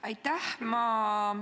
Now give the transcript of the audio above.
Aitäh!